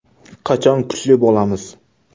Qachon kuchli bo‘lamiz?